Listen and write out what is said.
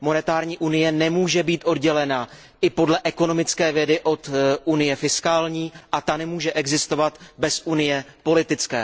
Měnová unie nemůže být oddělená i podle ekonomické vědy od unie fiskální, a ta nemůže existovat bez unie politické.